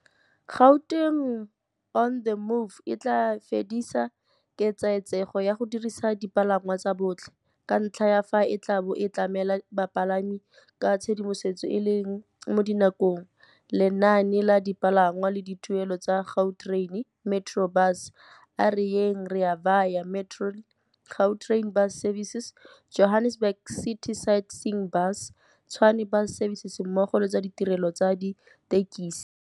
Gauteng on the Move e tla fedisa ketsaetsego ya go dirisa dipalangwa tsa botlhe, ka ntlha ya fa e tla bo e tlamela bapalami ka tshedimosetso e e leng mo dinakong, lenaane la dipalangwa le dituelelo tsa Gautrain, Metrobus, A Re Yeng, Rea Vaya, Metrorail, Gautrain Bus Services, Johannesburg City Sightseeing Bus, Tshwane Bus Services mmogo le tsa ditirelo tsa dithekesi.